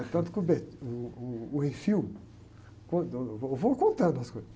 É tanto que o bé, uh, uh, o... Eu vou contando as coisas.